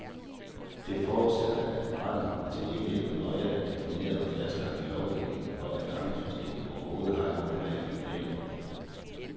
Det forudsætter, at retten til hjemmehjælp nøje er defineret og fastlagt i lovgivningen for at ankesystemet overhovedet har et grundlag at vurdere på.